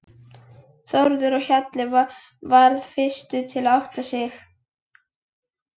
Þórður á Hjalla varð fyrstur til að átta sig.